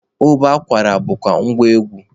Ụbọ akwara bụkwa ngwa egwu.